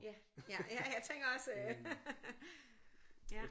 Ja ja jeg tænker også øh ja